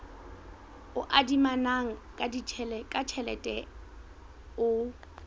o adimanang ka tjhelete o